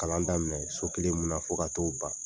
Kalan daminɛ so kelen mun na fo ka to ban.